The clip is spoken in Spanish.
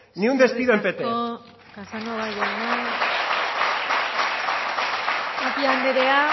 ni un despido en pt eskerrik asko casanova jauna